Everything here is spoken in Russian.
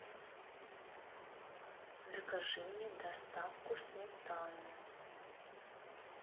закажи мне доставку сметаны